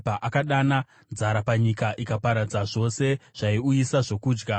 Akadana nzara panyika ikaparadza zvose zvaiuyisa zvokudya;